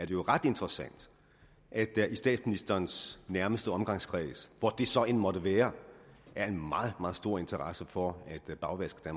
jo ret interessant at der i statsministerens nærmeste omgangskreds hvor det så end måtte være er en meget meget stor interesse for at bagvaske